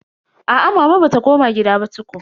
Aa mama bata koma gida ba tukun.